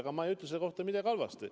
Ega ma ei ütle selle kohta midagi halba.